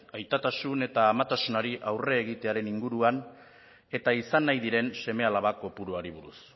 aitatasun eta amatasunari aurre egitean inguruan eta izan nahi diren seme alaba kopuruari buruz